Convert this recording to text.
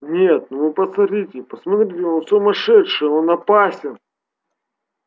нет ну вы посмотрите посмотрите он сумасшедший он опасен